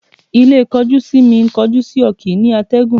Ilé kọjú-sí-mi, kọjú-sí-ọ kìí ní àtẹ̀gùn